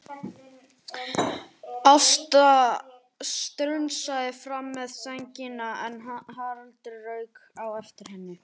Ásta strunsaði fram með sængina en Haraldur rauk á eftir henni.